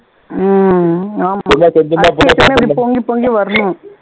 உம் ஆமா அரிசி எடுத்தோம்னா அப்படியே பொங்கி பொங்கி வரணும்